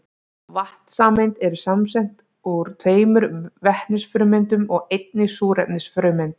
Vatnssameind eru samsett úr tveimur vetnisfrumeindum og einni súrefnisfrumeind.